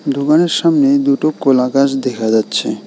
দুকানের সামনে দুটো কোলা গাছ দেখা যাচ্ছে।